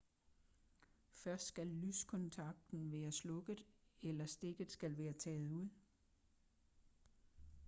først skal lyskontakten være slukket eller stikket skal være taget ud